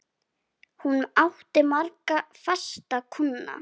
Hún átti marga fasta kúnna.